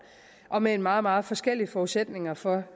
og med meget meget forskellige forudsætninger for